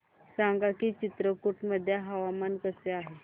सांगा की चित्रकूट मध्ये हवामान कसे आहे